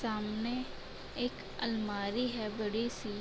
सामने एक अलमारी है बड़ी सी |